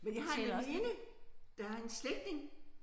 Men jeg har en veninde der har en slægtning